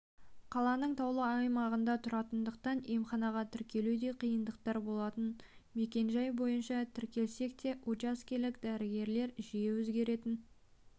қаланың таулы аймағында тұратындықтан емханаға тіркелуде қиындықтар болатын мекенжай бойынша тіркелсек те учаскелік дәрігерлер жиі өзгеретін